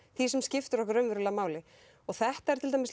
því sem skiptir raunverulega máli þetta er til dæmis